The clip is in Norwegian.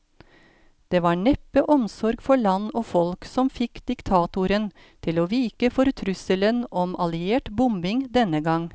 Det var neppe omsorg for land og folk som fikk diktatoren til å vike for trusselen om alliert bombing denne gang.